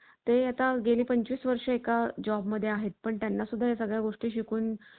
ते आता गेली पंचवीस वर्षे एका job मध्ये आहेत पण त्यांना सुद्धा या सगळ्या गोष्टी शिकून